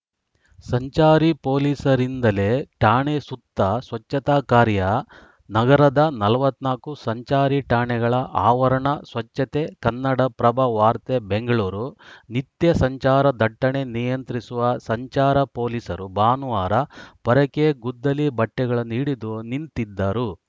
ಸಂಚಾರಿ ಪೊಲೀಸರಿಂದಲೇ ಠಾಣೆ ಸುತ್ತ ಸ್ವಚ್ಛತಾ ಕಾರ‍್ಯ ನಗರದ ನಲವತ್ತ್ ನಾಲ್ಕು ಸಂಚಾರಿ ಠಾಣೆಗಳ ಆವರಣ ಸ್ವಚ್ಛತೆ ಕನ್ನಡಪ್ರಭ ವಾರ್ತೆ ಬೆಂಗಳೂರು ನಿತ್ಯ ಸಂಚಾರ ದಟ್ಟಣೆ ನಿಯಂತ್ರಿಸುವ ಸಂಚಾರ ಪೊಲೀಸರು ಭಾನುವಾರ ಪೊರಕೆ ಗುದ್ದಲಿ ಬಟ್ಟೆಗಳನ್ನು ಹಿಡಿದು ನಿಂತಿದ್ದರು